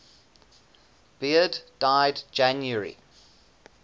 beard died january